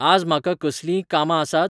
आज म्हाका कसलींय कामां आसात ?